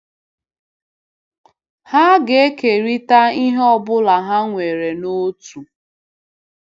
Ha ga-ekerịta ihe ọ bụla ha nwere n'otu.